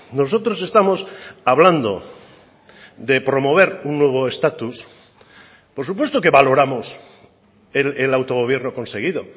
nosotros estamos hablando de promover un nuevo estatus por supuesto que valoramos el autogobierno conseguido